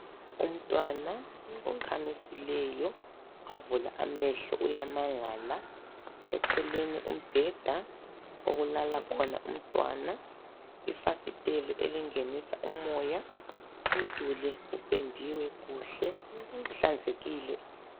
Umntwana okhamisileyo wavula amehlo uyamangala, eceleni umbheda okulala khona umntwana. Ifasiteli elingenisa umoya umduli upendiwe kuhle uhlanzekile.